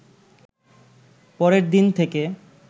পরের দিন থেকে